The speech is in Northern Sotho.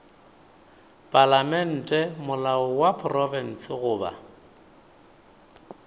palamente molao wa profense goba